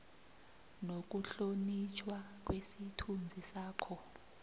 nokuhlonitjhwa kwesithunzi sakho